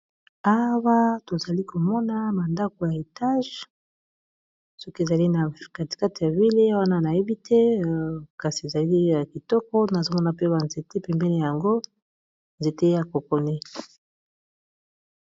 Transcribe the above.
Awa tozali komona ba ndako ya milai, soki ezali na katikate ya ville wana nayebi te, kasi ezali ya kitoko, nazomona pe ba nzete pembene yango, nzete ya kokotie.